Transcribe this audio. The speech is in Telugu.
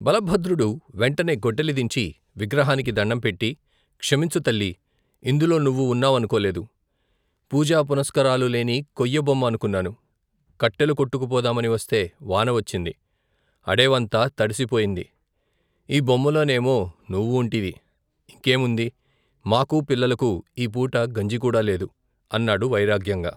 బలభద్రుడు వెంటనే గొడ్డలి దించి విగ్రహానికి దణ్ణం పెట్టి, క్షమించు, తల్లీ! ఇందులో నువ్వు ఉన్నావనుకోలేదు. పూజా పునస్కారాలు లేని కొయ్యబొమ్మ అనుకున్నాను. కట్టేలు కొట్టుకు పోదామని వస్తే వాన వచ్చింది. అడేవంతా తడిసిపోయింది. ఈ బొమ్మలోనేమో నువూంటివి! ఇంకేముంది? మాకూ పిల్లలకూ ఈ పూట గంజి కూడా లేదు! అన్నాడు వైరాగ్యంగా.